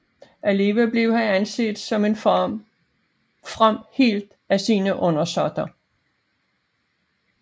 Alligevel blev han anset som en from helt af sine undersåtter